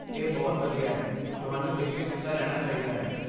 ਇਹ ਬਹੁਤ ਵਧੀਆ ਹੈ, ਤੁਹਾਨੂੰ ਇਸ ਵਿੱਚ ਹਿੱਸਾ ਲੈਣਾ ਚਾਹੀਦਾ ਹੈ